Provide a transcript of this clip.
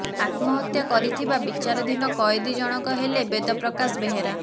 ଆତ୍ମହତ୍ୟା କରିଥିବା ବିଚାରାଧିନ କଏଦୀ ଜଣଙ୍କ ହେଲେ ବେଦ ପ୍ରକାଶ ବେହେରା